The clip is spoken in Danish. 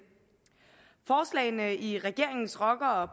forslagene i regeringens rocker og